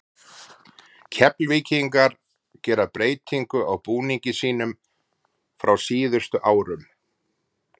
Keflvíkingar gera breytingu á búningi sínum frá síðustu árum.